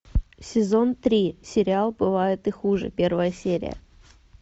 сезон три сериал бывает и хуже первая серия